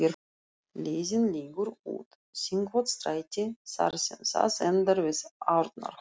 Leiðin liggur út Þingholtsstræti þar sem það endar við Arnarhól.